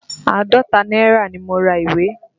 Àádọ́ta náírà ni mo ra ìwé.